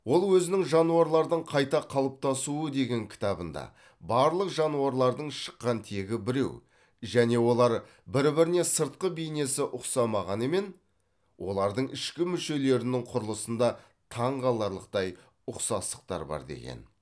ол өзінің жануарлардың қайта қалыптасуы деген кітабында барлық жануарлардың шыққан тегі біреу және олар бір біріне сыртқы бейнесі ұқсамағанымен олардың ішкі мүшелерінің құрылысында таңқаларлықтай ұқсастықтар бар деген